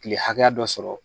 Kile hakɛya dɔ sɔrɔ